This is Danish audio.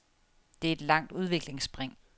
Det er et langt udviklingsspring.